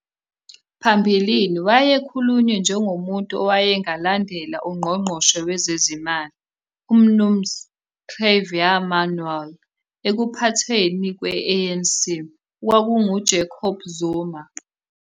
Phambilini, wayekhulunywe njengomuntu owayengalandela uNgqongqoshe Wezezimali, uMnuz Trevor Manuel, ekuphathweni kwe-ANC okwakunguJacob Zuma